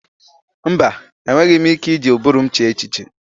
Mba! Enweghị m ike iji ụbụrụ m chee echiche.